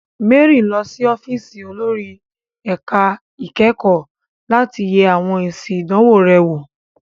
Mary ń lọ sí ọ́fíìsì olórí ẹ̀ka ìkẹ́kọ̀ọ́ láti yẹ àwọn èsì ìdánwò rẹ̀ wò.